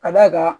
Ka d'a kan